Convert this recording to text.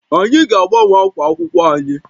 Anyị ga-agbanwe ákwà akwụkwọ anyị